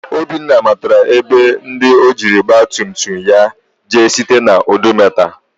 Obinna matara ebe ndi ojiri ọgba tum tum ya jee site na odometa.